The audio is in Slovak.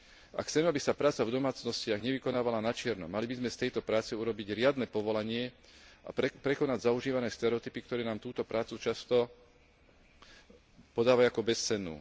Ak chceme, aby sa práca v domácnostiach nevykonávala načierno, mali by sme z tejto práce urobiť riadne povolanie a prekonať zaužívané stereotypy, ktoré nám túto prácu často podávajú ako bezcennú.